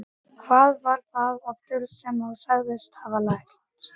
Hvað var það aftur sem þú sagðist hafa lært?